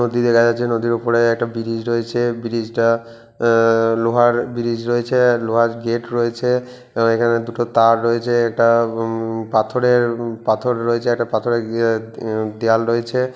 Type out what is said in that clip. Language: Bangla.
নদী দেখা যাচ্ছে নদীর উপরে একটা বিরিজ রয়েছে বিরিজটা আ-আ লোহার বিরিজ রয়েছে। লোহার গেট রয়েছে এবং এখানে দুটো তার রয়েছে একটা উম্‌ পাথরের পাথর রয়েছে। একটা পাথরের ইয়ে গিয়ে দেওয়াল রয়েছে।